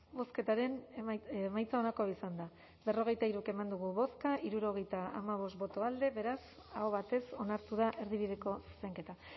bozketaren emaitza onako izan da hirurogeita hamabost eman dugu bozka hirurogeita hamabost boto alde beraz aho batez onartu da erdibideko zuzenketa